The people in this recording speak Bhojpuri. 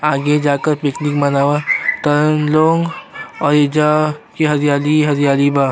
आगे जाकर पिकनिक मानव तार लोग और एहिजा हरियाली ही हरियाली बा।